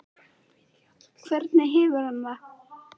Breki Logason: Hvernig hefur hann það?